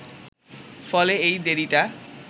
ফলে এই দেরিটা